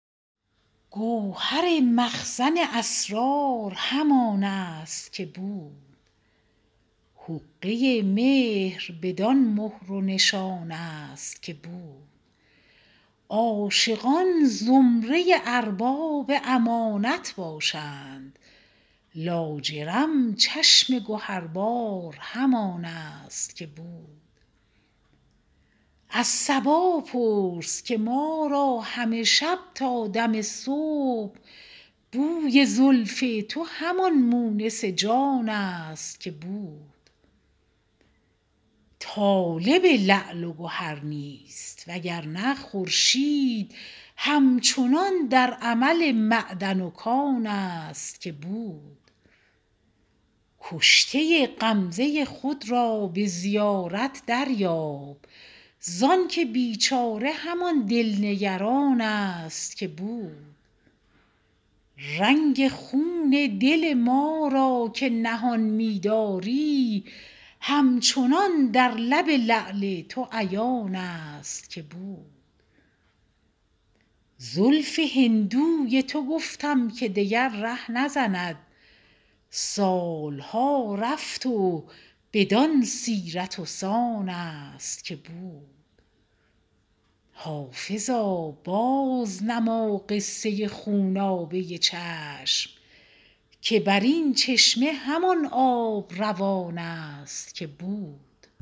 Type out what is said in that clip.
گوهر مخزن اسرار همان است که بود حقه مهر بدان مهر و نشان است که بود عاشقان زمره ارباب امانت باشند لاجرم چشم گهربار همان است که بود از صبا پرس که ما را همه شب تا دم صبح بوی زلف تو همان مونس جان است که بود طالب لعل و گهر نیست وگرنه خورشید هم چنان در عمل معدن و کان است که بود کشته غمزه خود را به زیارت دریاب زانکه بیچاره همان دل نگران است که بود رنگ خون دل ما را که نهان می داری همچنان در لب لعل تو عیان است که بود زلف هندوی تو گفتم که دگر ره نزند سال ها رفت و بدان سیرت و سان است که بود حافظا بازنما قصه خونابه چشم که بر این چشمه همان آب روان است که بود